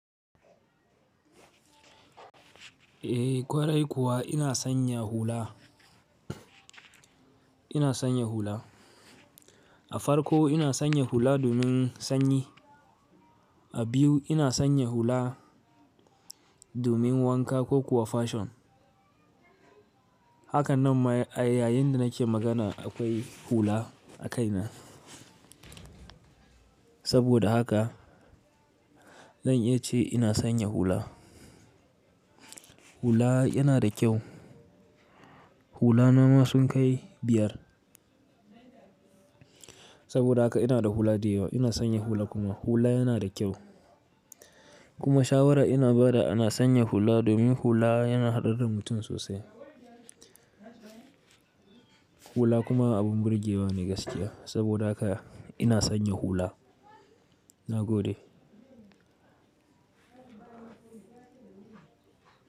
Eh ƙwarai kuwa ina sanya hula. Ina sanya hula. A farko ina sanya hula domin sanyi, a biyu ina sanya hula domin wanka ko kuwa fashion. Haka nan ma ayayinda nake magana akwai hula a kaina. Saboda haka zan iya ce ina sanya hula. Hula yana da kyau. Hula na ma sun kai biyar. Saboda haka ina da hula da yawa. Ina sanya hula kuma hula yana da kyau. Kuma shawara ina bada ana sanya hula domin hula yana haɗaɗɗa mutum sosai. Hula kuma abun burge wa ne gaskiya. Saboda haka ina sanya hula. Na gode.